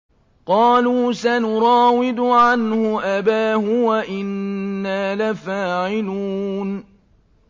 قَالُوا سَنُرَاوِدُ عَنْهُ أَبَاهُ وَإِنَّا لَفَاعِلُونَ